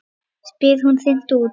spyr hún hreint út.